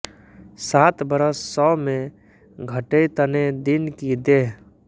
सात बरस सौ में घटेइतने दिन की देह